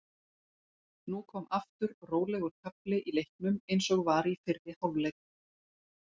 Nú kom aftur rólegur kafli í leiknum eins og var í fyrri hálfleik.